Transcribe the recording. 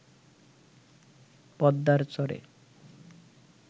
পদ্মার চরে